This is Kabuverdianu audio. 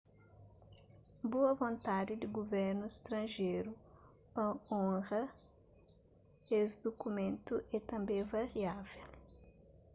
boa vontandi di guvernus stranjeru pa onra es dukumentu é tanbê variável